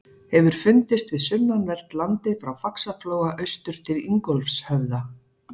Hefur fundist við sunnanvert landið frá Faxaflóa austur til Ingólfshöfða.